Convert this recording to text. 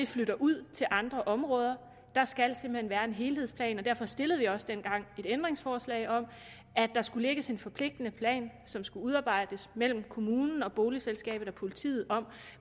flytter ud til andre områder der skal simpelt hen være en helhedsplan derfor stillede vi også dengang et ændringsforslag om at der skulle lægges en forpligtende plan som skulle udarbejdes mellem kommunen boligselskabet og politiet om